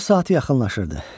Nahar saatı yaxınlaşırdı.